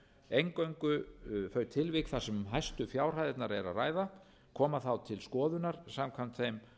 eingöngu þau tilvik þar sem tilvik þar sem hæstu fjárhæðirnar er að ræða koma þá til skoðunar samkvæmt þeim